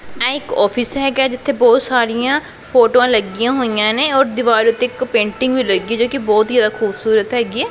ਆਹ ਇੱਕ ਓਫਿਸ ਹੈਗਾ ਹੈ ਜਿੱਥੇ ਬਹੁਤ ਸਾਰੀਆਂ ਫੋਟੋਆਂ ਲੱਗੀਆਂ ਹੋਈਆਂ ਨੇਂ ਔਰ ਦਿਵਾਰ ਉੱਤੇ ਇੱਕ ਪੇਂਟਿੰਗ ਵੀ ਲੱਗੀ ਹੈ ਜੋਕਿ ਬਹੁਤ ਹੀ ਜਿਆਦਾ ਖੂਬਸੂਰਤ ਹੈਗੀ ਹੈ।